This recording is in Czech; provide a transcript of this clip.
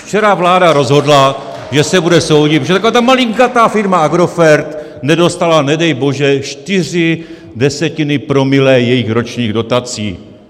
Včera vláda rozhodla, že se bude soudit, že taková ta malinkatá firma Agrofert nedostala, nedej bože, čtyři desetiny promile jejich ročních dotací.